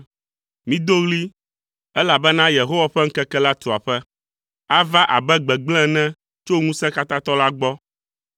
Mido ɣli, elabena Yehowa ƒe ŋkeke la tu aƒe. Ava abe gbegblẽ ene tso Ŋusẽkatãtɔ la gbɔ.